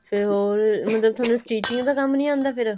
ਫੇਰ ਹੋਰ ਮਤਲਬ ਤੁਹਾਨੂੰ stitching ਦਾ ਕੰਮ ਨਹੀਂ ਆਉਂਦਾ ਫਿਰ